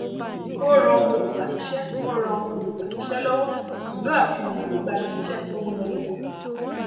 ó ràn olùgbàsísẹ ó ràn olùgbàsísẹ lọwọ pẹlú àfihàn ìgbanisísé tó munádókó